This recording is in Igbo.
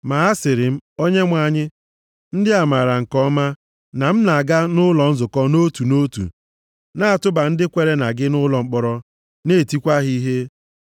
“Ma asịrị m, ‘Onyenwe anyị, ndị a maara nke ọma na m na-aga nʼụlọ nzukọ nʼotu nʼotu, na-atụba ndị kwere na gị nʼụlọ mkpọrọ, na-etikwa ha ihe.